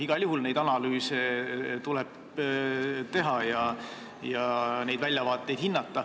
Igal juhul niisuguseid analüüse tuleb teha ja väljavaateid hinnata.